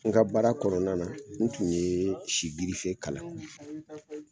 N ka baara kɔnɔna na n tun ye si girife kalan